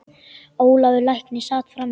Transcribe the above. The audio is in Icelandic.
Ólafur læknir sat fram í.